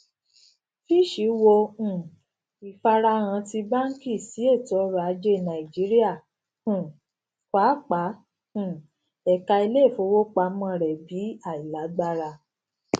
fitch wo um ifarahan ti banki si etoọrọ aje naijiria um paapaa um eka ileifowopamọ rẹ bi ailagbara